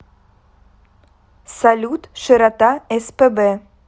салют широта спб